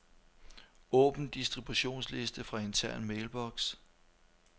Åbn distributionsliste fra intern mailbox.